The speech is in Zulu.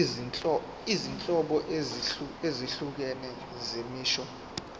izinhlobo ezahlukene zemisho